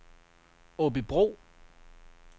Aabybro